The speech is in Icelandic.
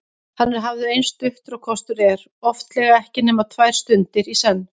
Hann er hafður eins stuttur og kostur er, oftlega ekki nema tvær stundir í senn.